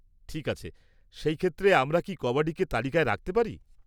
ঠিক আছে, সেই ক্ষেত্রে, আমরা কি কাবাডিকে তালিকায় রাখতে পারি?